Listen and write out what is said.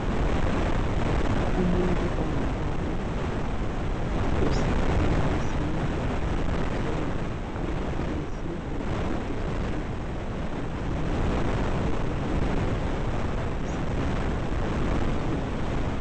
Umuntu ongubaba ose pharmacy, uthenga amaphilisi kumbe imedication ayifunayo. Engabe eyibhalelwe esibhedlela kumbe eclinic.